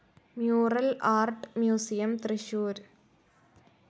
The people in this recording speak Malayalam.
മുറൽ ആർട്ട്‌ മ്യൂസിയം, തൃശൂർ